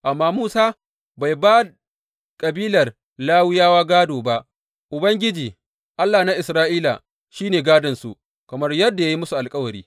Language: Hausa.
Amma Musa bai ba kabilar Lawiyawa gādo ba; Ubangiji, Allah na Isra’ila, shi ne gādonsu kamar yadda ya yi musu alkawari.